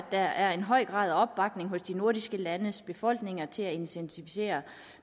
er en høj grad af opbakning hos de nordiske landes befolkninger til et intensiveret